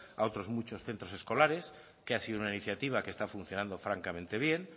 a otros muchos centros escolares que ha sido una iniciativa que está funcionando francamente bien